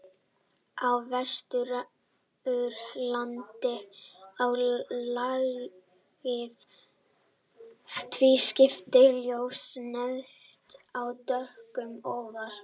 Á Vesturlandi er lagið tvískipt, ljóst neðst en dökkt ofar.